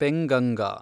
Penganga